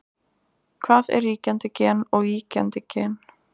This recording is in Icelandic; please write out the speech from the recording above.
hvað er ríkjandi gen og víkjandi gen